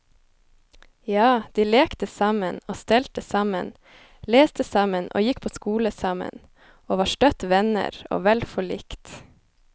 Ja, de lekte sammen og stelte sammen, leste sammen og gikk på skole sammen, og var støtt venner og vel forlikt.